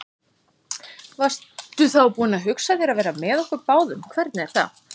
Varstu þá búin að hugsa þér að vera með okkur báðum, hvernig er það?